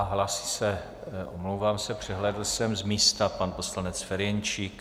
A hlásí se, omlouvám se, přehlédl jsem, z místa pan poslanec Ferjenčík.